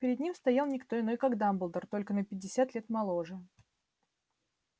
перед ним стоял не кто иной как дамблдор только на пятьдесят лет моложе